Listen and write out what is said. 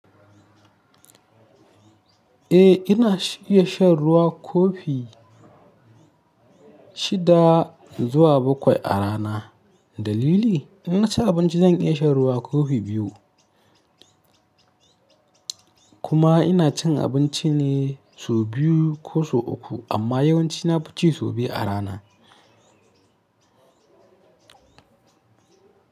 Eh ina iya shan ruwa kofi shida zuwa bakwai a rana. Dalili? In na ci abinci zan iya shan ruwa kofi biyu. Kuma ina cin abinci ne sau biyu ko sau uku amma yawanci na ci sau biyu a rana.